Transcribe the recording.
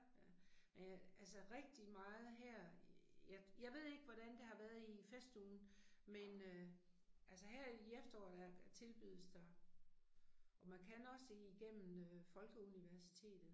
Øh øh altså rigtig meget her øh jeg jeg ved ikke hvordan det har været i festugen men øh altså her i efteråret æh tilbydes der. Og man kan også igennem øh Folkeuniversitetet